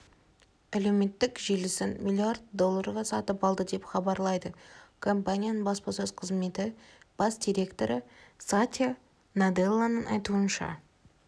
әлеуметтік желісін млрд долларға сатып алды деп хабарлайды компанияның баспасөз қызметі бас директоры сатья наделланың айтуынша